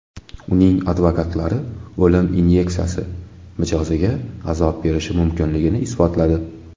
Uning advokatlari o‘lim inyeksiyasi mijoziga azob berishi mumkinligini isbotladi.